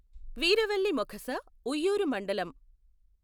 వీరవల్లి మొఖస, ఉయ్యూరు మండలం.